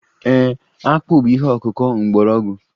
Ee, akpu bụ ihe ọkụkụ mgbọrọgwụ